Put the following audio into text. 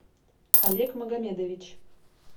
олег магомедович